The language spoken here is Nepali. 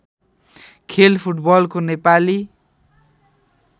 खेल फुटबलको नेपाली